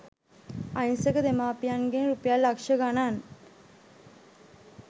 අහිංසක දෙමාපියන්ගෙන් රුපියල් ලක්ෂ ගණන්